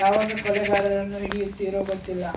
ಯಾವಾಗ ಕೊಲೆಗಾರನನ್ನು ಹಿಡಿಯುತ್ತೀರೋ ಗೊತ್ತಿಲ್ಲ